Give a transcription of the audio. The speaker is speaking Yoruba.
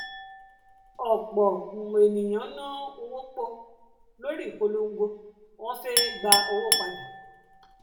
ọpọ um ènìyàn ná owó pọ um lórí ìpolongo wọn fé um gba owó padà